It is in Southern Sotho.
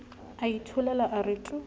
a itholela a re tu